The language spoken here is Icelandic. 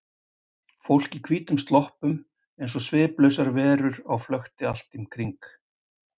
Fólk í hvítum sloppum eins og sviplausar verur á flökti allt um kring.